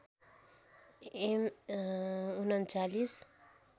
am ३९